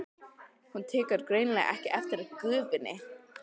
Hún tekur greinilega ekki eftir gufunni.